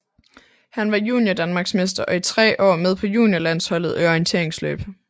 Han var juniordanmarksmester og i tre år med på juniorlandsholdet i orienteringsløb